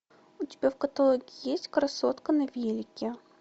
у тебя в каталоге есть красотка на велике